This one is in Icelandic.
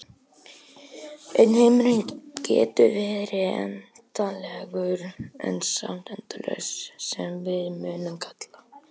En heimurinn getur verið endanlegur en samt endalaus sem við mundum kalla.